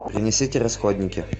принесите расходники